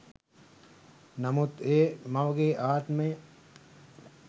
නමුත් ඒ මවගේ ආත්මය